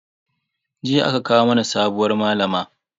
Jiya aka kawo mana sabuwar malama.